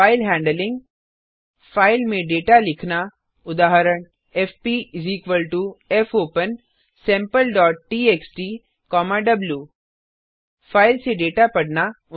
file handling file में data लिखना उदाहरण एफपी fopensampleटीएक्सटी द्व फाइल से डेटा पढ़ना